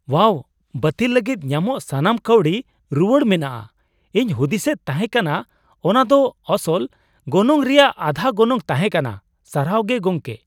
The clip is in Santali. ᱳᱣᱟᱣ ! ᱵᱟᱹᱛᱤᱞ ᱞᱟᱹᱜᱤᱫ ᱧᱟᱢᱚᱜ ᱥᱟᱱᱟᱢ ᱠᱟᱹᱣᱰᱤ ᱨᱩᱣᱟᱹᱲ ᱢᱮᱱᱟᱜᱼᱟ, ᱤᱧ ᱦᱩᱫᱤᱥᱮᱫ ᱛᱟᱦᱮ ᱠᱟᱱᱟ ᱚᱱᱟ ᱫᱚ ᱟᱥᱚᱞ ᱜᱚᱱᱚᱝ ᱨᱮᱭᱟᱜ ᱟᱫᱷᱟ ᱜᱚᱱᱚᱝ ᱛᱟᱦᱮᱸ ᱠᱟᱱᱟ, ᱥᱟᱨᱦᱟᱣ ᱜᱮ ᱜᱚᱢᱠᱮ ᱾